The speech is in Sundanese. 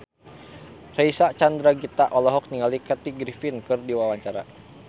Reysa Chandragitta olohok ningali Kathy Griffin keur diwawancara